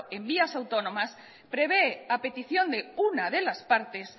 en vías autónomas prevé a petición de una de las partes